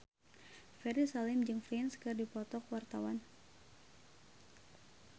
Ferry Salim jeung Prince keur dipoto ku wartawan